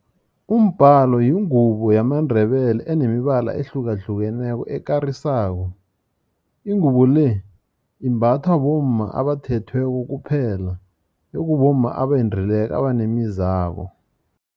Umbhalo yingubo yamaNdebele enemibala ehlukahlukeneko ekarisako. Ingubo le imbathwa bomma abathethweko kuphela, ekubomma abendileko abanemizabo.